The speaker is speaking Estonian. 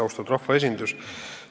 Austatud rahvaesindus!